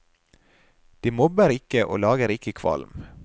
De mobber ikke og lager ikke kvalm.